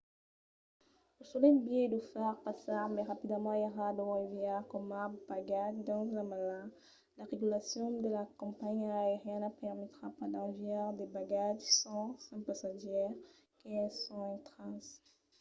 lo solet biais d'o far passar mai rapidament èra d'o enviar coma bagatge dins la mala. las regulacions de las companhiás aerianas permetrà pas d'enviar de bagatges sens un passatgièr que es ont intratz